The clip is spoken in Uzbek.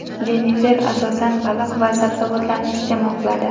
Jennifer, asosan, baliq va sabzavotlarni iste’mol qiladi.